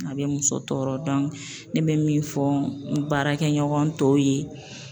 A bɛ muso tɔɔrɔ ne be min fɔ n baarakɛɲɔgɔn tɔw ye